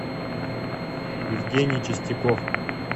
евгений чистяков